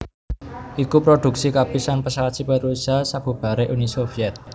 iku prodhuksi kapisan pesawat sipil Rusia sabubaré Uni Soviet